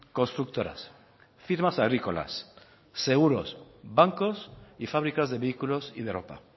constructoras firmas agrícolas seguros bancos y fábricas de vehículos y de ropa